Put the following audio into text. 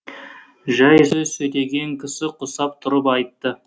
жай сөз сөйлеген кісі құсап тұрып айтты